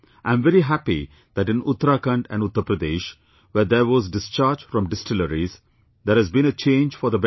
I am very happy that in Uttarakhand and Uttar Pradesh, where there was discharge from distilleries, there has been a change for the better